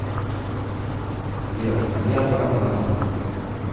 сбер аябо мозги